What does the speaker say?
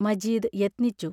Majeed യത്നിച്ചു.